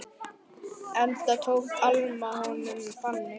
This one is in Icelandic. Enda tók Alma honum þannig.